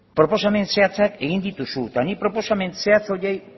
proposamen zehatzak egin dituzu eta nik proposamen zehatza horiei